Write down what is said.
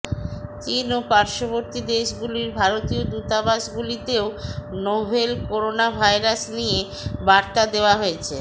চিন ও পার্শ্ববর্তী দেশগুলির ভারতীয় দূতাবাসগুলিতেও নোভেল করোনা ভাইরাস নিয়ে বার্তা দেওয়া হয়েছে